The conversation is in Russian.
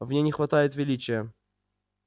в ней не хватает величия